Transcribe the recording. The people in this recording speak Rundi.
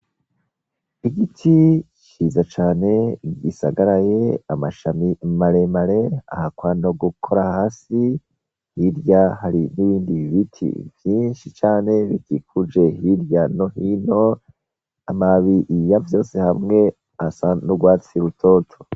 Igiti ciza cane gisagaray' amashami maremar' ahakwa nogukora hasi hirya hari n ibindi biti vyinshi cane bikikuje hirya no hin' amababi yavyose hamw' asa n' urwatsi rutoto.